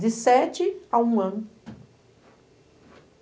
De sete a um ano.